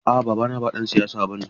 A'a babana ba ɗan siyasa bane.